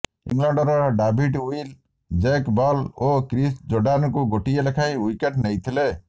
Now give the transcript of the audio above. ଇଂଲଣ୍ଡର David Willey Jake Ball ଓ Chris ଜୋର୍ଡାନଙ୍କୁ ଗୋଟିଏ ଲେଖାଏଁ ଓ୍ବିକେଟ୍ ନେଇଥିଲେ